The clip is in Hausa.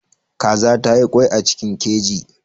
Kaza ta yi ƙwai a cikin keji.